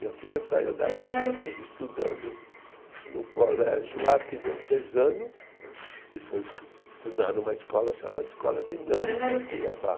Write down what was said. Minha filha saiu daqui estudando no colégio arquidiocesano e foi escu, estudar numa escola chamada Escola Dinâmica em Cuiabá.